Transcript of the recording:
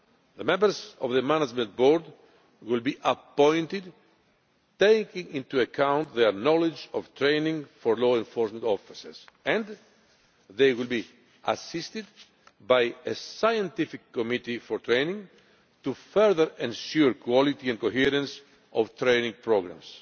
The members of the management board will be appointed taking into account their knowledge of training for law enforcement officers, and they will be assisted by a scientific committee for training to further ensure the quality and coherence of training programmes.